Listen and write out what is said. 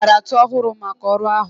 Ọ zụtara ntu ọhụrụ maka ọrụ ahụ